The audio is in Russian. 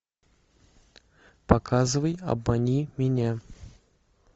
показывай обмани меня